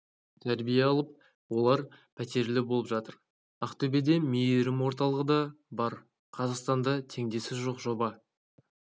тәрбие алып олар пәтерлі болып жатыр ақтөбеде мейірім орталығы да бар қазақстанда теңдесі жоқ жоба